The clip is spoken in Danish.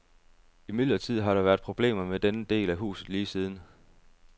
Imidlertid har der været problemer med denne del af huset lige siden.